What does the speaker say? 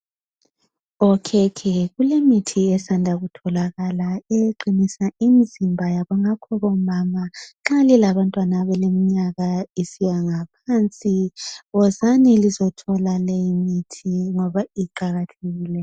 Okhekhe kulemithi esanda kutholakala eqinisa imizimba yabo ngakho bomama nxa lilabantwana abaleminyaka isiyangaphansi wozani lizothola leyimithi ngoba iqakathekile.